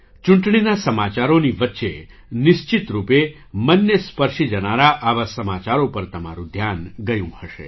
ચૂંટણીના સમાચારોની વચ્ચે નિશ્ચિત રૂપે મનને સ્પર્શી જનારા આવા સમાચારો પર તમારું ધ્યાન ગયું હશે